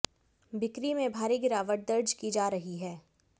बिक्री में भारी गिरावट दर्ज की जा रही है